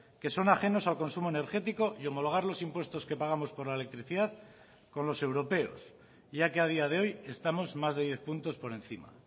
que son ajenos al consumo energético y homologar los impuestos que pagamos por la electricidad con los europeos ya que a día de hoy estamos más de diez puntos por encima